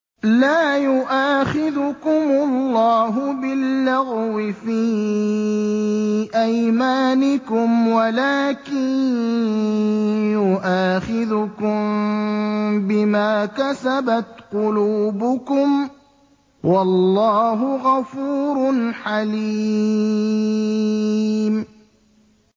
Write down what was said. لَّا يُؤَاخِذُكُمُ اللَّهُ بِاللَّغْوِ فِي أَيْمَانِكُمْ وَلَٰكِن يُؤَاخِذُكُم بِمَا كَسَبَتْ قُلُوبُكُمْ ۗ وَاللَّهُ غَفُورٌ حَلِيمٌ